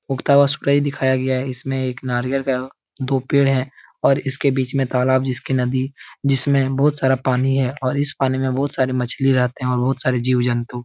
उगता हुआ सूरज दिखाया गया है। इसमें एक नारियल का दो पेड़ है और इसके बीच में तालाब जिसकी नदी जिसमे बहुत सारा पानी है और इस पानी में बहुत सारी मछली रहते हैं और बहुत सारे जीव जंतु --